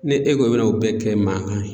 Ni e ko e bina o bɛɛ kɛ mankan ye